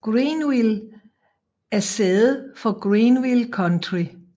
Greenville er sæde for Greenville County